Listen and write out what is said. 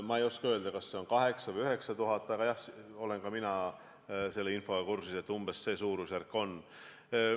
Ma ei oska öelda, kas 8000 või 9000, aga jah, ka mina olen selle infoga kursis, et umbes selline see suurusjärk on.